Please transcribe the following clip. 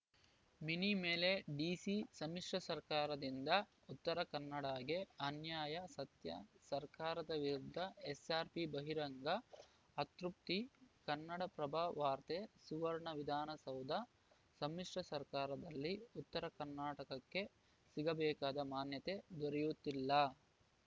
mini ಮೇಲೆ DC ಸಮ್ಮಿಶ್ರ ಸರ್ಕಾರದಿಂದ ಉತ್ತರ ಕನ್ನಡ ಗೆ ಅನ್ಯಾಯ ಸತ್ಯ ಸರ್ಕಾರದ ವಿರುದ್ಧ ಎಸ್ಸಾರ್ಪಿ ಬಹಿರಂಗ ಅತೃಪ್ತಿ ಕನ್ನಡಪ್ರಭ ವಾರ್ತೆ ಸುವರ್ಣ ವಿಧಾನಸೌಧ ಸಮ್ಮಿಶ್ರ ಸರ್ಕಾರದಲ್ಲಿ ಉತ್ತರ ಕರ್ನಾಟಕಕ್ಕೆ ಸಿಗಬೇಕಾದ ಮಾನ್ಯತೆ ದೊರೆಯುತ್ತಿಲ್ಲ